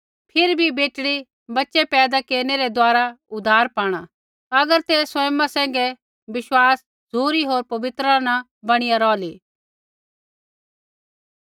फिरी बी बेटड़ी बच़ै पैदा केरनै रै द्वारा उद्धार पाणा अगर ते सँयमा सैंघै विश्वास झ़ुरी होर पवित्रता न बणिया रौहली